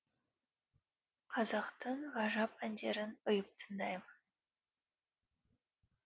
қазақтың ғажап әндерін ұйып тыңдаймын